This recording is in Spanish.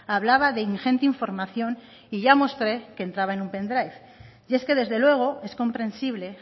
hablaba de ingente información y ya mostré que entraba en un pendrive y es que desde luego es comprensible